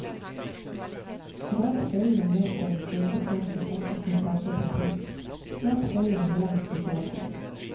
Skrap deigen ned på en stekeplate dekket med bakepapir, klapp deigen jevnt utover.